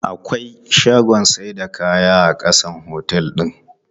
Akwai shagunnan saida kaya a ƙasan otel din.